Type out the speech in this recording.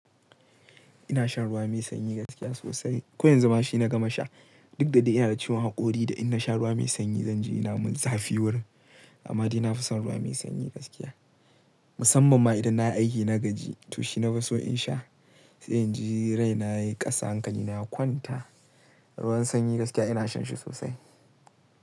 Ina shan ruwa mai sanyi gaskiya sosai. Ko yanzu ma shi na gama sha. Duk da dai ina da ciwon haƙori da in na sha ruwa mai sanyi zanji ina mun zafi wurin. Amma dai nafason ruwa mai sanyi gaskiya. Musamman ma idan na aiki na gaji to shi nafi so in sha. Sai in ji rai na yayi ƙasa hankali na ya kwanta. Ruwan sanyi gaskiya ina shan shi sosai.